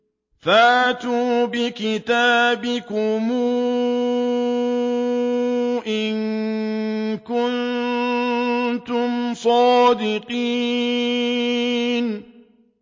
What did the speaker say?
فَأْتُوا بِكِتَابِكُمْ إِن كُنتُمْ صَادِقِينَ